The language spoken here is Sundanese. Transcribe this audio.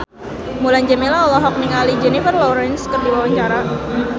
Mulan Jameela olohok ningali Jennifer Lawrence keur diwawancara